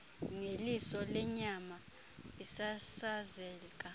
ngeliso lenyama isasazeka